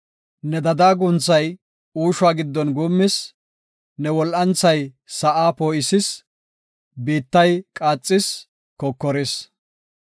Ne dadaa guunthay uushuwa giddon guummis; ne wol7anthay sa7aa poo7isis; biittay qaaxis; kokoris.